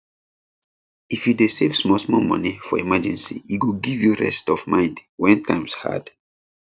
if you dey save small small for emergency e go give give you rest of mind when times hard